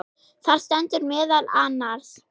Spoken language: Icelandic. Þar stendur meðal annars